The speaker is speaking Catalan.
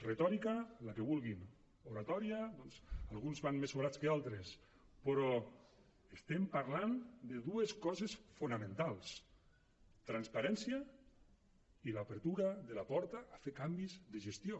retòrica la que vulguin oratòria doncs alguns van més sobrats que altres però estem parlant de dues coses fonamentals transparència i l’apertura de la porta a fer canvis de gestió